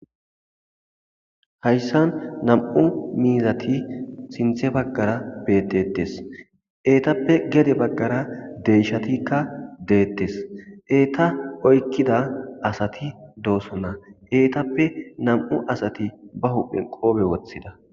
hayssan nam7u miizati sinthe baggara betetes eetappe gede baggara deyshatikka deettes eeta oykkida asati doosonna eetappe nam7u asati ba huphen qoobe woththida